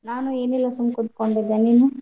ನಾನ್ ಏನಿಲ್ಲಾ ಸುಮ್ಮ್ ಕುತ್ಕೊಂಡಿದ್ದೆ ನೀನ್?